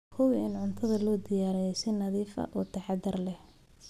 Hubi in cuntada loo diyaariyey si nadiif ah oo taxadar leh.